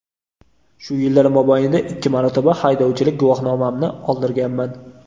Shu yillar mobaynida ikki marotaba haydovchilik guvohnomamni oldirganman.